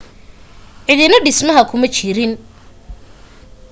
cidina dhismaha kuma jirin